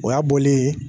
O y'a bɔlen ye